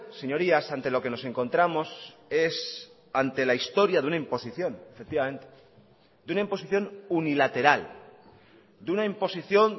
señorías ante lo que nos encontramos es ante la historia de una imposición efectivamente de una imposición unilateral de una imposición